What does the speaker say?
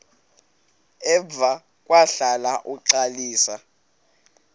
emva kwahlala uxalisa